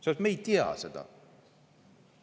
Me ei tea seda.